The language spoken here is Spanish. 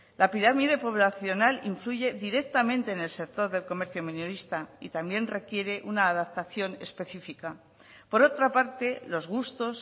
la pirámide poblacional influye directamente en el sector del comercio minorista y también requiere una adaptación específica por otra parte los gustos